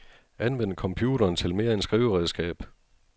Anvend computeren til mere end skriveredskab.